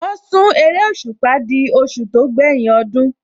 Wọ́n sún eréṣùpá di oṣù tó gbẹ́yìn ọdún